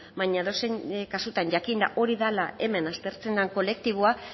baina edozein kasutan jakinda hori dela hemen aztertzen den kolektiboa